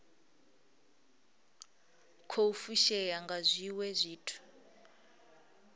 khou fushea nga zwiwe zwithu